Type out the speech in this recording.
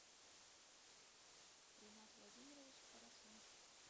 ринат владимирович хорошун